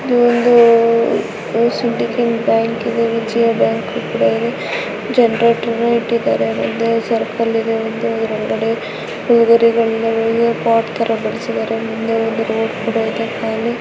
ಇದು ಒಂದು syndicate bank ಇದೆ ವಿಜಯ ಬ್ಯಾಂಕ್ ಇದೆ ಜನರೇಟರ್ ಇಟ್ಟಿದ್ದಾರೆ ಮುಂದೆ ಒಂದು ಸರ್ಕಲ್ ಇದೆ. ಇದು ಒಂದು ಪಾಟ್ ತಾರಾ ಬರ್ಸಿದಾರೆ ಮುನೇ ಒಂದು ರೋಡ್ ಕೂಡ ಇದೆ.